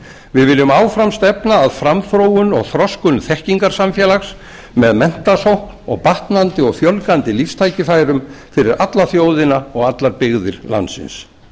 við viljum áfram stefna að framþróun og þroskun þekkingarsamfélags með menntasókn og batnandi og fjölgandi lífstækifærum fyrir alla þjóðina og allar byggðir landsins